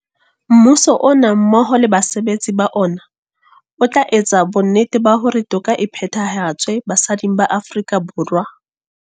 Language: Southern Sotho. Mmuso ona mmoho le basebetsi ba ona o tla etsa bonnete ba hore toka e phethahatswe basading ba Aforika Borwa.